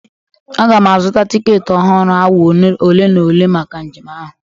Aga m azụta tiketi ọhụrụ awa ole na ole maka njem ahụ.